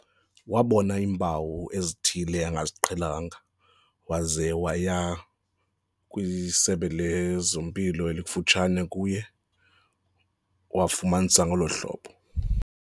Wabona iimpawu ezithile angaziqhelanga waze waya kwisebe lezempilo elikufutshane kuye wafumanisa ngolo hlobo.